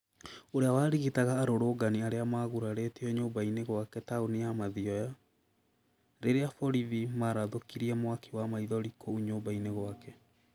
Ũrĩa warigitaga arũrũngani arĩa magurarĩtio nyũmba -inĩ gwake taũni ya mathioya, rĩrĩa borithi marathũkirie mwaki wa maithori kũu nyũmba-inĩ gwake.